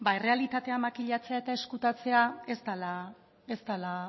errealitatea makilatzea eta ezkutatzea ez dela